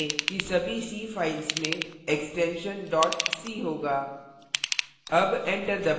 कृपया ध्यान दें कि सभी c files में extension dot c होगा